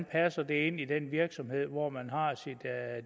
passer ind i den virksomhed hvor man har sit